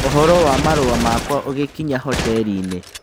ũhoro wa marua makwa ũgĩkinya hoteri-inĩ